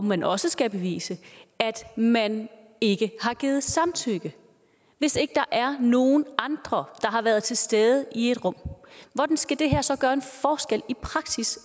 man også skal bevise at man ikke har givet samtykke hvis ikke der er nogen andre der har været til stede i et rum hvordan skal det her så i praksis